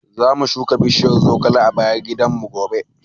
Zamu shuka bishiyar zogale a bayan gidanmu gobe.